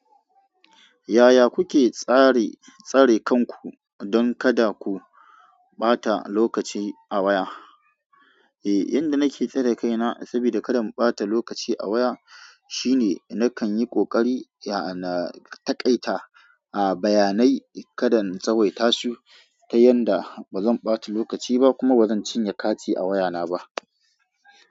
Yaya kuke tsare tsari kanku don kada ku ɓata lokaci a waya? Eh, yadda nake tsare kaina saboda kada in ɓata lokaci a waya shine nakan yi ƙoƙari ya na taƙaita a bayanai kadan in tsawaita su ta yanda ba zan ɓata lokaci ba kuma ba zan cinye kati a wayana ba.